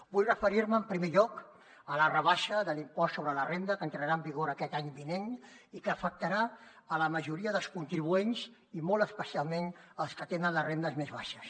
vull referir me en primer lloc a la rebaixa de l’impost sobre la renda que entrarà en vigor aquest any vinent i que afectarà la majoria dels contribuents i molt especialment els que tenen les rendes més baixes